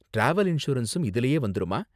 Travel இன்சூரன்சும் இதுலயே வந்துருமா?